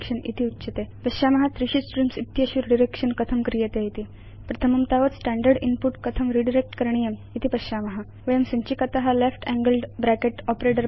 इति उच्यते अधुना पश्याम त्रीषु स्ट्रीम्स् इत्येतेषु रिडायरेक्शन कथं क्रियते इति प्रथमं तावत् स्टैण्डर्ड् इन्पुट कथं रिडायरेक्ट् करणीयम् इति पश्याम वयं संचिकात आपरेटर